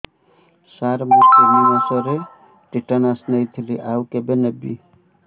ସାର ମୁ ତିନି ମାସରେ ଟିଟାନସ ନେଇଥିଲି ଆଉ କେବେ ନେବି